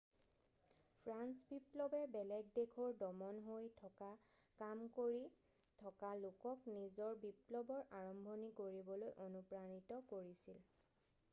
French বিপ্লৱে বেলেগ দেশৰ দমন হৈ থকা কাম কৰি থকা লোকক নিজৰ বিপ্লৱৰ আৰম্ভণি কৰিবলৈ অনুপ্ৰাণিত কৰিছিল